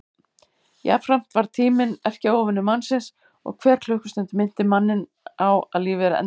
Jafnframt varð tíminn erkióvinur mannsins og hver klukkustund minnti manninn á að lífið er endanlegt.